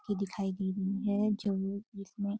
की दिखाई दे रही है जो इसमें --